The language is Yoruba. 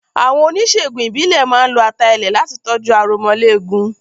Àwọn oníṣègùn ìbílẹ̀ máa ń lo ata ilẹ̀ láti tọ́jú aromọléegun.